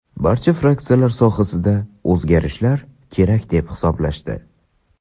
barcha fraksiyalar sohada o‘zgarishlar kerak deb hisoblashdi.